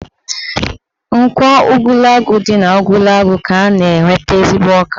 Nkwọ Ugwulangwu dị n'Ugwulangwu ka a na-enweta ezigbo ọka